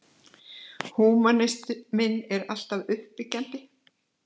En húmanisminn er alltaf uppbyggjandi.